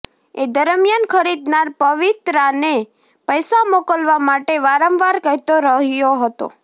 એ દરમ્યાન ખરીદનાર પવિત્રાને પૈસા મોકલવા માટે વારંવાર કહેતો રહ્યો હતો